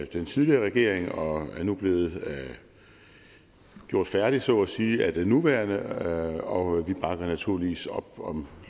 den tidligere regering og er nu blevet gjort færdigt så at sige af den nuværende regering og vi bakker naturligvis op om